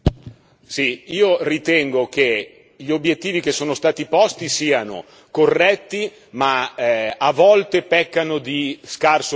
Io ritengo che gli obiettivi che sono stati posti siano corretti, ma che a volte pecchino di scarso realismo.